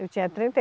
Eu tinha trinta e